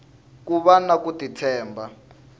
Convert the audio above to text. ku vana ku ti tshemba